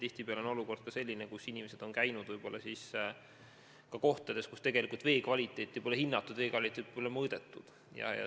Tihtipeale on juhtunud, et inimesed on käinud ka kohtades, kus vee kvaliteeti pole mõõdetud.